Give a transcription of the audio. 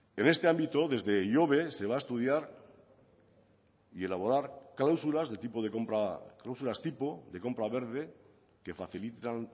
en este ámbito desde ihobe se va a estudiar y elaborar cláusulas de tipo de compra cláusulas tipo de compra verde que facilitan